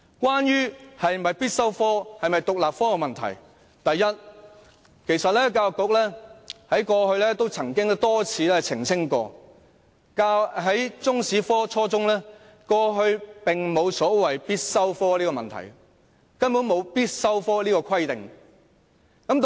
關於中史科是否必修科或獨立科的問題，第一，教育局曾經多次澄清，過去沒有出現初中中史科是否必修科的問題，也沒有必修科的規定。